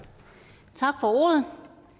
tak for ordet